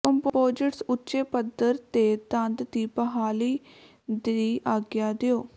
composites ਉੱਚੇ ਪੱਧਰ ਤੇ ਦੰਦ ਦੀ ਬਹਾਲੀ ਦੀ ਆਗਿਆ ਦਿਓ